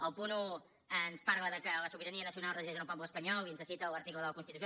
el punt un ens diu que la sobirania nacional resideix en el poble espanyol i ens cita l’article de la constitució